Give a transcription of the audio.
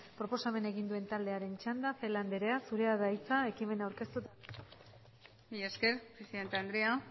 proposamena egin duen taldearen txanda celaá anderea zurea da hitza ekimena aurkeztu eta aldezteko mila esker presidente andrea